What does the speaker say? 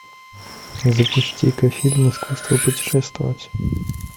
запусти ка фильм искусство путешествовать